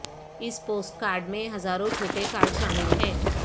اس post card میں ہزاروں چھوٹے کارڈ شامل ہیں